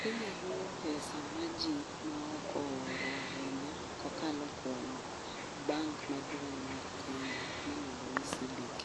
Kenya luwo pesa maji maoko oro ahinya kokalo kuom bank maduong' mar Kenya miluongo ni CBK